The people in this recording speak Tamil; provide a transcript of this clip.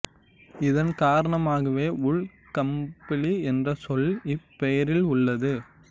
இதன் காரணமாகவே வூல் கம்பளி என்ற சொல் இப் பெயரில் உள்ளது